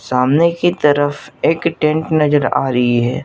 सामने की तरफ एक टेंट नजर आ रही है।